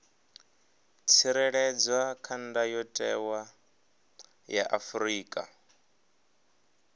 tsireledzwa kha ndayotewa ya afrika